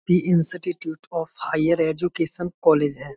Institute of higher education college है।